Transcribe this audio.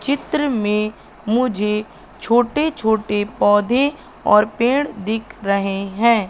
चित्र में मुझे छोटे छोटे पौधे और पेड़ दिख रहे हैं।